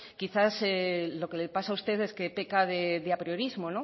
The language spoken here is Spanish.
quizá lo que le pasa a usted es que peca de apriorismo